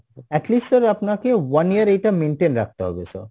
at least sir আপনাকে one year এইটা maintain রাখতে হবে sir